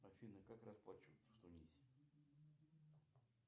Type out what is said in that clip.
афина как расплачиваться в тунисе